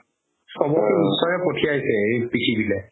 চ'বকতো ঈশ্বৰে পথিয়াছে এই পৃথিৱীলে